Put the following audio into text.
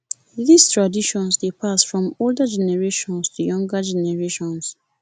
these traditions de pass from older generations to younger generations